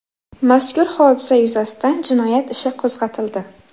Mazkur hodisa yuzasidan jinoyat ishi qo‘zg‘atildi.